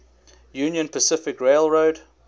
union pacific railroad